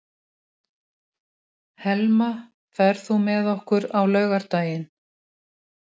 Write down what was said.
Helma, ferð þú með okkur á laugardaginn?